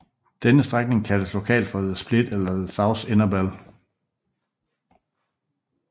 Denne strækning kaldes lokalt for The Split eller The South Innerbell